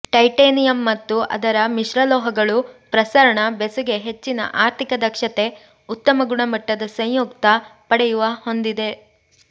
titanium ಮತ್ತು ಅದರ ಮಿಶ್ರಲೋಹಗಳು ಪ್ರಸರಣ ಬೆಸುಗೆ ಹೆಚ್ಚಿನ ಆರ್ಥಿಕ ದಕ್ಷತೆ ಉತ್ತಮ ಗುಣಮಟ್ಟದ ಸಂಯುಕ್ತ ಪಡೆಯುವ ಹೊಂದಿದೆ